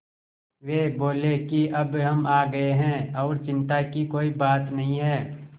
वे बोले कि अब हम आ गए हैं और चिन्ता की कोई बात नहीं है